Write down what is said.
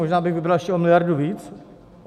Možná bych vybral ještě o miliardu víc.